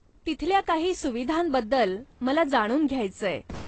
तिथल्या काही सुविधांबद्दल मला जाणून घ्यायचंय.